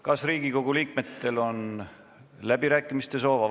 Kas Riigikogu liikmetel on läbirääkimiste soovi?